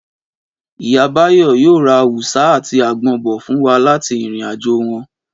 Ìyá Báyọ̀ yóò ra awùsá àti àgbọn bọ̀ fún wa láti ìrìn-àjò wọn